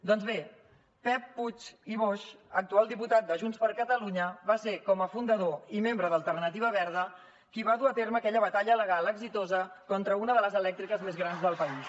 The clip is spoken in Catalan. doncs bé pep puig i boix actual diputat de junts per catalunya va ser com a fundador i membre d’alternativa verda qui va dur a terme aquella batalla legal exitosa contra una de les elèctriques més grans del país